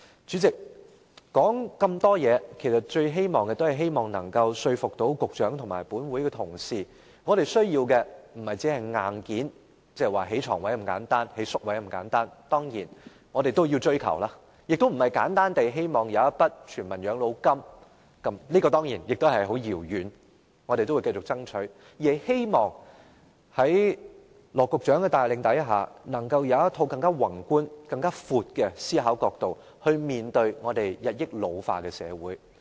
主席，說了那麼多，其實也是希望說服局長和本會同事，我們需要的並非只是硬件，不只是提供更多床位和宿位那麼簡單，當然這些也是我們要追求的，亦並非簡單地設立全民養老金，當然這也是很遙遠的事情，我們仍會繼續爭取，而是希望在羅局長的帶領下，能夠有更宏觀、更廣闊的思考角度來面對我們日益老化的社會。